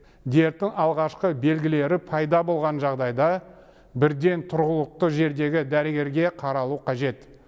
дерттің алғашқы белгілері пайда болған жағдайда бірден тұрғылықты жердегі дәрігерге қаралу қажет